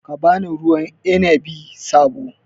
Ka ba ni ruwan inabi sabo